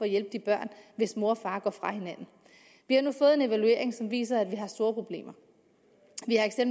hjælpe de børn hvis mor og far går fra hinanden vi har nu fået en evaluering som viser at vi har store problemer